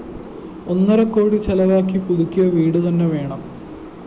ഒന്നരക്കോടി ചെലവാക്കി പുതുക്കിയ വീട് തന്നെ വേണം